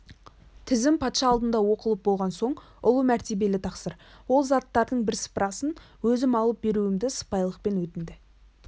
тізім патша алдында оқылып болған соң ұлы мәртебелі тақсыр ол заттардың бірсыпырасын өзім алып беруімді сыпайылықпен өтінді